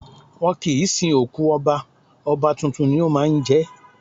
Wọ́n kì ń sin òkú Ọba, Ọba tuntun ni ó máa ń jẹ́.